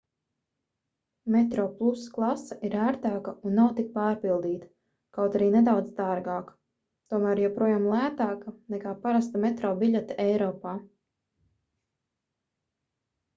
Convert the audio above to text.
metroplus klase ir ērtāka un nav tik pārpildīta kaut arī nedaudz dārgāka tomēr joprojām lētāka nekā parasta metro biļete eiropā